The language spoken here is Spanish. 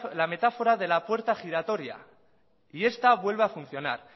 la metáfora de la puerta giratoria y esta vuelve a funcionar